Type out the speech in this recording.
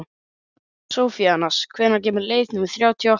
Sophanías, hvenær kemur leið númer þrjátíu og átta?